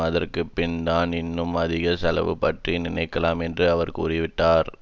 அதற்கு பின்தான் இன்னும் அதிக செலவு பற்றி நினைக்கலாம் என்று அவர் கூறிவிட்டார்